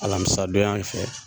Alamisa don yan fɛ.